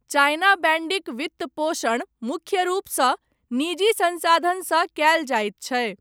China बैन्डीक वित्तपोषण मुख्य रूपसँ निजी सँसाधनसँ कयल जाइत छै।